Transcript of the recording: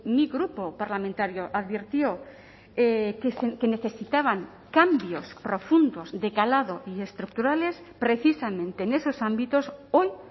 mi grupo parlamentario advirtió que necesitaban cambios profundos de calado y estructurales precisamente en esos ámbitos hoy